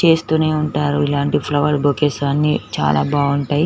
చేస్తూనే ఉంటారు ఇలాంటి ఫ్లవర్ బొకేస్ అన్ని చాలా బాగుంటాయి.